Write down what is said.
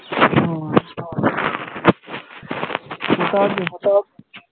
হ্যাঁ কোথায় আছো? কোথায় আছো?